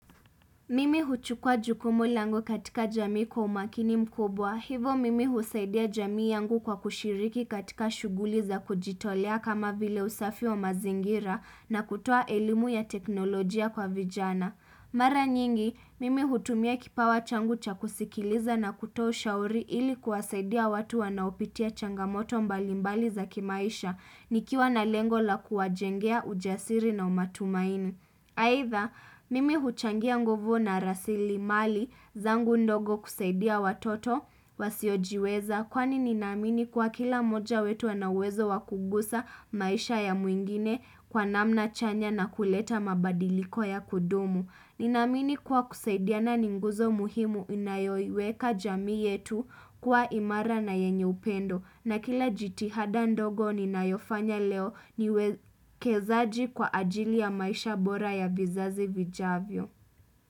Mimi huchukua jukumu langu katika jamii kwa umakini mkubwa hivyo mimi husaidia jamii yangu kwa kushiriki katika shughuli za kujitolea kama vile usafi wa mazingira na kutoa elimu ya teknolojia kwa vijana mara nyingi mimi hutumia kipawa changu cha kusikiliza na kutoa ushauri ili kuwasaidia watu wanaopitia changamoto mbalimbali za kimaisha nikiwa na lengo la kuwajengea ujasiri na umatumaini aidha mimi huchangia nguvu na rasilimali zangu ndogo kusaidia watoto wasiojiweza kwani ninaamini kwa kila moja wetu anauwezo wa kugusa maisha ya mwingine kwa namna chanya na kuleta mabadiriko ya kudumu ninamini kwa kusaidiana ni nguzo muhimu inayoiweka jamii yetu kuwa imara na yenye upendo na kila jitihada ndogo ninayofanya leo niwekezaji kwa ajili ya maisha bora ya vizazi vijavyo.